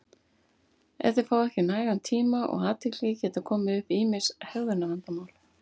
ef þeir fá ekki nægan tíma og athygli geta komið upp ýmis hegðunarvandamál